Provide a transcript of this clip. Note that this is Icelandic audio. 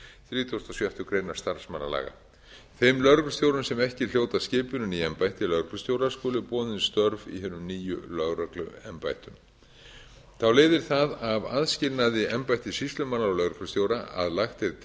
þrítugasta og sjöttu grein starfsmannalaga þeim lögreglustjórum sem ekki hljóta skipun í embætti lögreglustjóra skulu boðin störf í hinum nýju lögregluembættum þá leiðir það af aðskilnaði embætti sýslumanna og lögreglustjóra að lagt er